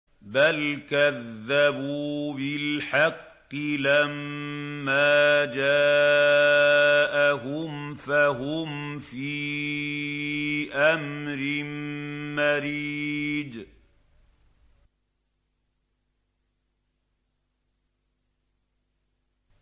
بَلْ كَذَّبُوا بِالْحَقِّ لَمَّا جَاءَهُمْ فَهُمْ فِي أَمْرٍ مَّرِيجٍ